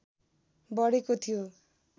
बढेको थियो